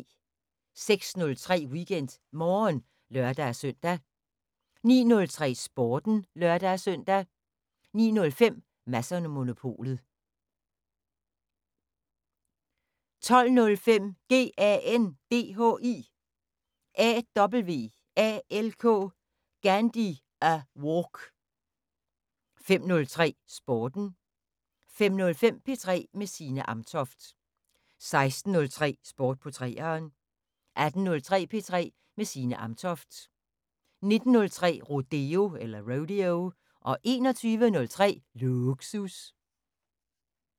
06:03: WeekendMorgen (lør-søn) 09:03: Sporten (lør-søn) 09:05: Mads & Monopolet 12:05: GANDHI AWALK 15:03: Sporten 15:05: P3 med Signe Amtoft 16:03: Sport på 3'eren 18:03: P3 med Signe Amtoft 19:03: Rodeo 21:03: Lågsus